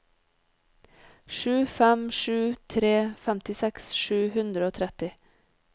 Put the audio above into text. sju fem sju tre femtiseks sju hundre og tretti